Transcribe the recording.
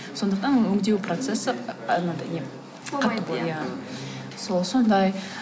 сондықтан оны өндеу процесі анандай не иә сол сондай